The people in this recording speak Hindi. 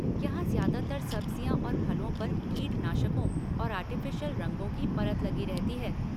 यहाँ ज्यादातर सब्जियाँ और फलों पर कीटनाशकों और आर्टिफिशियल रंगों की परत लगी रहती है।